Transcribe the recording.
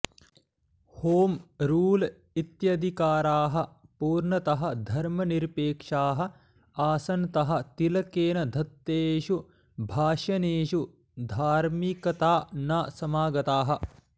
home rule इत्यधिकाराः पूर्णतः धर्मनिरपेक्षाः आसनतः तिलकेन दत्तेषु भाषणेषु धार्मिकता न समागता